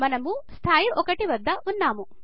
మనము స్థాయి 1 వద్ద ఉన్నము